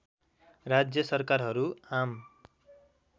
राज्य सरकारहरू आम